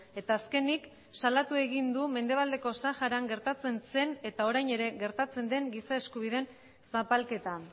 eta azkenik salatu egin du mendebaldeko saharan gertatzen zen eta orain ere gertatzen den giza eskubideen zapalketa